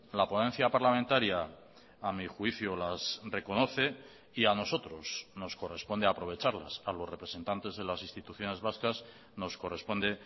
la ponencia parlamentaria a mi juicio las reconoce y a nosotros nos corresponde aprovecharlas a los representantes de las instituciones vascas nos corresponde